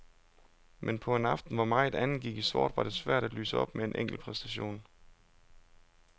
Men på en aften, hvor meget andet gik i sort, var det svært at lyse op med en enkeltpræstation.